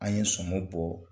An ye sɔm bɔ.